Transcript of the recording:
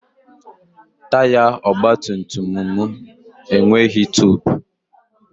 Taya ọgbatumtum m enweghị tubu.